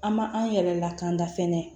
An ma an yɛrɛ lakana fɛnɛ